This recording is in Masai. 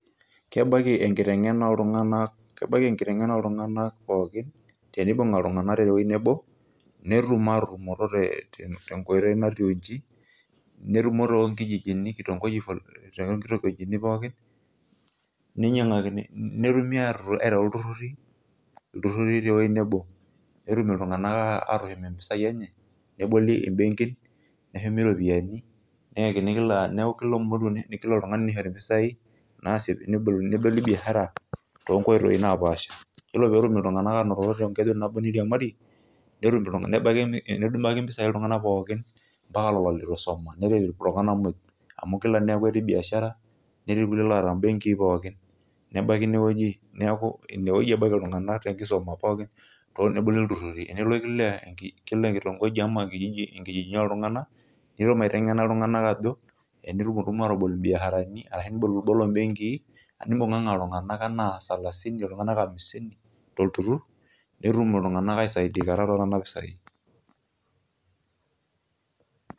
Kebaiki enkitengena ooltunganak pookin tenibunga iltunganak tewoji nebo netum atutumoto tenkoitoi natiu inji, netumo too nkijiji toonkitongojini pookin netumi aitau iltururi, iltururi tewoji nebo petum iltunganak atushum impisai enye, neboli imbenkin, neshumi iropiyiani, neeku kila oltungani nishori impisai neboli biashara tenkoitoi napaasha. Ore peetum oltungani ainototo tengeju nabo neiriemari, nebaiki impisai iltunganak pookin ambaka lelo leitu isuma nerit iltunganak moj amu kila netii biashara, netii kulie loota imbenkin pookin, nebaiki naa inewoji iltunganak tenkisum pookin, neboli iltururi tenelo kila enkijiji enkitongoji ooltunganak netum aitenken iltunganak ajo, enitumtumu aabal imbiasharani ashu ibolibolo imbenkii nebunganga iltunganak enaa salasini enaa hamisini tulturur netum aisaidikata too nena pisai.